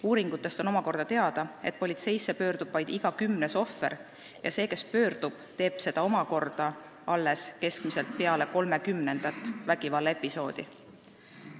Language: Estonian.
Uuringutest on teada, et politseisse pöördub vaid iga kümnes ohver ja see, kes pöördub, teeb seda omakorda keskmiselt alles peale 30. vägivallaepisoodi.